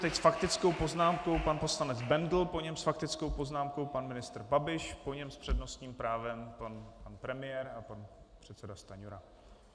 Teď s faktickou poznámkou pan poslanec Bendl, po něm s faktickou poznámkou pan ministr Babiš, po něm s přednostním právem pan premiér a pan předseda Stanjura.